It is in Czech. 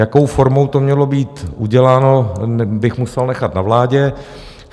Jakou formou to mělo být uděláno, bych musel nechat na vládě.